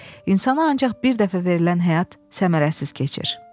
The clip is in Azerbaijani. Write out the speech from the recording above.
İnsana ancaq bir dəfə verilən həyat səmərəsiz keçir.